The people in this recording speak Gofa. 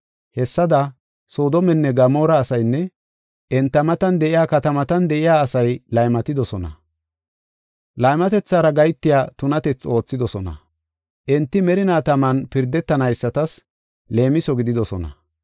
Hessada, Soodomenne Gamoora asaynne enta matan de7iya katamatan de7iya asay laymatidosona; laymatethara gahetiya tunatethi oothidosona. Enti merinaa taman pirdetanaysatas leemiso gididosona.